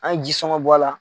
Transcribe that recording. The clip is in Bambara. An ye ji sɔngɔn bɔ a la.